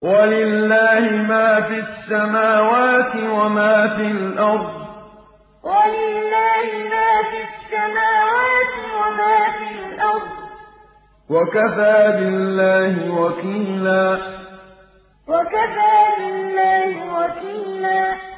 وَلِلَّهِ مَا فِي السَّمَاوَاتِ وَمَا فِي الْأَرْضِ ۚ وَكَفَىٰ بِاللَّهِ وَكِيلًا وَلِلَّهِ مَا فِي السَّمَاوَاتِ وَمَا فِي الْأَرْضِ ۚ وَكَفَىٰ بِاللَّهِ وَكِيلًا